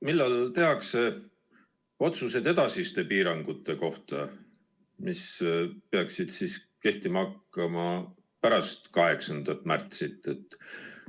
Millal tehakse otsused edasiste piirangute kohta, mis peaksid kehtima hakkama pärast 8. märtsi?